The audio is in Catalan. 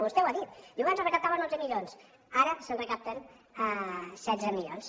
vostè ho ha dit diu abans es recaptaven onze milions ara se’n recapten setze milions